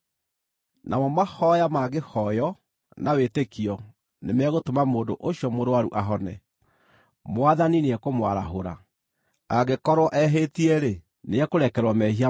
Namo mahooya mangĩhooywo na wĩtĩkio nĩ megũtũma mũndũ ũcio mũrũaru ahone; Mwathani nĩekũmwarahũra. Angĩkorwo ehĩtie-rĩ, nĩekũrekerwo mehia make.